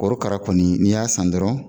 Korokara kɔni n'i y'a san dɔrɔn